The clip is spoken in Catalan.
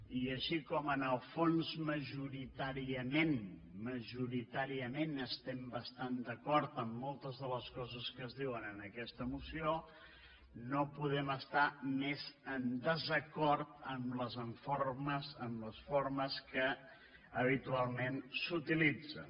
i així com en el fons majoritàriament majoritàriament estem bastant d’acord en moltes de les coses que es diuen en aquesta moció no podem estar més en desacord amb les formes que habitualment s’utilitzen